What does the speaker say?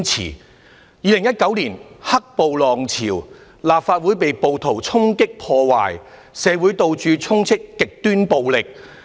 在2019年的"黑暴"浪潮，立法會被暴徒衝擊破壞，社會到處充斥極端暴力。